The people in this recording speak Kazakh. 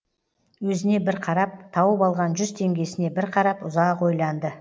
өзіне бір қарап тауып алған жүз теңгесіне бір қарап ұзақ ойланды